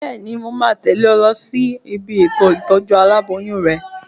Bẹ́ẹ̀ni, mo máa tẹ̀lé ọ lọ sí ibi ètò ìtọ́jú aláboyún rẹ